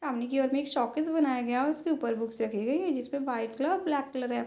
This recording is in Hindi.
सामने की ओर में एक शोकेस बनाया गया और उसके ऊपर बुक्स रखी गई हैं जिसपे वाइट कलर ब्लैक कलर है।